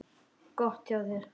Gott hjá þér.